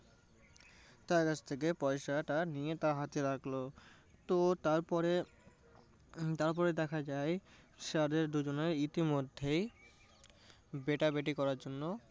তার কাছথেকে পয়সাটা নিয়ে তার হাতে রাখলো। তো তার পরে হম তারপরে দেখা যায় যে তাদের দুজনাই ইতিমধ্যেই বেটাবেটি করার জন্য